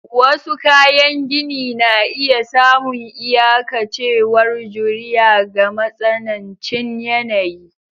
Wasu kayan gini na iya samun iyakancewar juriya ga matsanancin yanayi.